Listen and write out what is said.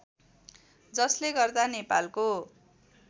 जसले गर्दा नेपालको